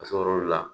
Ka sɔrɔ olu la